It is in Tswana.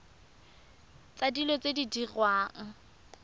tsa dilo tse di diriwang